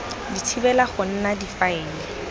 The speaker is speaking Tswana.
di thibela go nna difaele